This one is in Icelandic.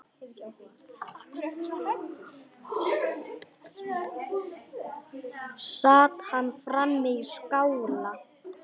Sat hann frammi í skála.